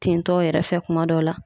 Tintɔ yɛrɛ fɛ kuma dɔw la